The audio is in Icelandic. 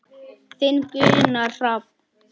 Þinn Gunnar Hrafn.